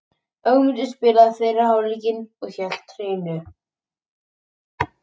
Ögmundur spilaði fyrri hálfleikinn og hélt hreinu.